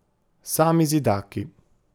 Sami zidaki.